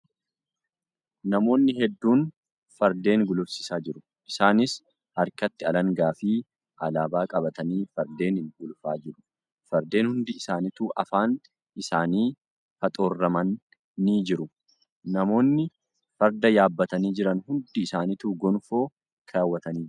Namoonni hedduun fardeen gulufsiisaa jiru. Isaaniis harkatti alangaa fi alaabaa qabatanii fardeenin gulufaa jiru. Fardeen hundi isaanitu afaan isaanii faxoorraman jiru. Namoinni farda yaabbatanii jiran hundi isaanituu gonfoo keewwatanii jiru.